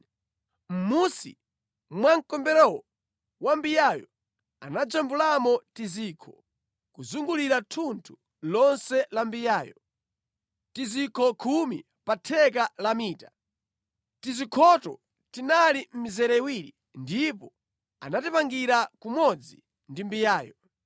Mʼmunsi mwa mkombero wa mbiyayo anajambulamo tizikho kuzungulira thunthu lonse la mbiyayo, tizikho khumi pa theka la mita. Tizikhoto tinali mʼmizere iwiri ndipo anatipangira kumodzi ndi mbiyayo.